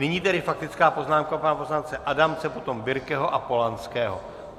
Nyní tedy faktická poznámka pana poslance Adamce, potom Birkeho a Polanského.